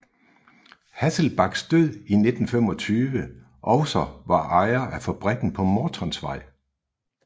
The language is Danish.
Hasselbalchs død i 1925 også var ejer af fabrikken på Mortonsvej